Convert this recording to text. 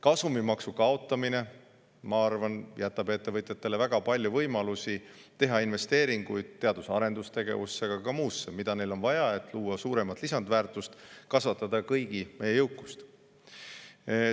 Kasumimaksu kaotamine, ma arvan, jätab ettevõtjatele väga palju võimalusi teha investeeringuid teadus‑ ja arendustegevusse, aga ka muusse, mida neil on vaja, et luua suuremat lisandväärtust, kasvatada kõigi meie jõukust.